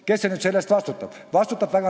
Kes nüüd selle eest vastutab?